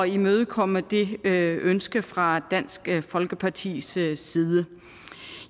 imødekomme det ønske fra dansk folkepartis side side